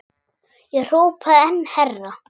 Ég hrópaði enn hærra.